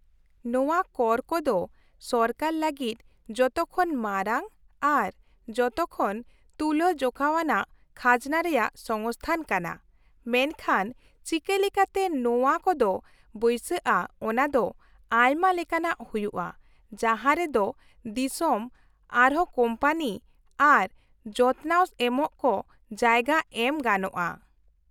-ᱱᱚᱶᱟ ᱠᱚᱨ ᱠᱚᱫᱚ ᱥᱚᱨᱠᱟᱨ ᱞᱟᱹᱜᱤᱫ ᱡᱚᱛᱚᱠᱷᱚᱱ ᱢᱟᱨᱟᱝ ᱟᱨ ᱡᱚᱛᱚᱠᱷᱚᱱ ᱛᱩᱞᱟᱹᱡᱚᱠᱷᱟᱣᱟᱱᱟᱜ ᱠᱷᱟᱡᱱᱟ ᱨᱮᱭᱟᱜ ᱥᱚᱝᱥᱛᱷᱟᱱ ᱠᱟᱱᱟ ᱢᱮᱱᱠᱷᱟᱱ ᱪᱤᱠᱟᱹᱞᱮᱠᱟᱛᱮ ᱱᱚᱶᱟ ᱠᱚᱫᱚ ᱵᱟᱹᱭᱥᱟᱹᱜᱼᱟ ᱚᱱᱟ ᱫᱚ ᱟᱭᱢᱟ ᱞᱮᱠᱟᱱᱟᱜ ᱦᱩᱭᱩᱜᱼᱟ ᱡᱟᱦᱟᱸ ᱨᱮ ᱫᱚ ᱫᱤᱥᱚᱢ ᱟᱨᱦᱚᱸ ᱠᱳᱢᱯᱟᱱᱤ ᱟᱨ ᱡᱚᱛᱱᱟᱣ ᱮᱢᱚᱜ ᱠᱚ ᱡᱟᱭᱜᱟ ᱮᱢ ᱜᱟᱱᱚᱜᱼᱟ ᱾